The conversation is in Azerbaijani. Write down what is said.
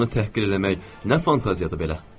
Qadını təhqir eləmək nə fantaziyadır belə?